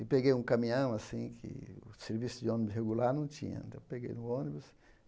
E peguei um caminhão, assim, que o serviço de ônibus regular não tinha, então peguei no ônibus.